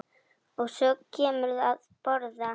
Og svo kemurðu að borða!